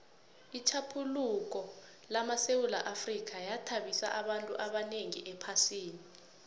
itjhaphuluko lamasewula afrika yathabisa abantu abanengi ephasini